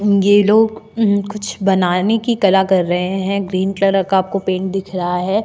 ये लोग अ कुछ बनाने की कला कर रहे हैं ग्रीन कलर का आपको पेन्ट दिख रहा है।